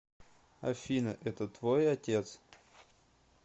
афина это твой отец